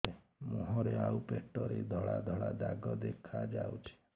ମୁହଁରେ ଆଉ ପେଟରେ ଧଳା ଧଳା ଦାଗ ଦେଖାଯାଉଛି